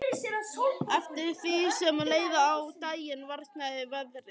Eftir því sem leið á daginn versnaði veðrið.